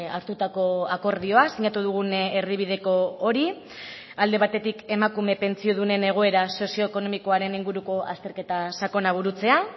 hartutako akordioa sinatu dugun erdibideko hori alde batetik emakume pentsiodunen egoera sozioekonomikoaren inguruko azterketa sakona burutzea